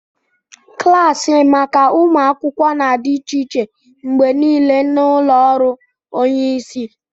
Klaasị maka ụmụ akwụkwọ na-adị iche mgbe niile na ụlọ ọrụ onye isi